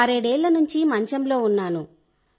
ఆరేడేళ్ల నుంచి మంచంలో ఉన్నాను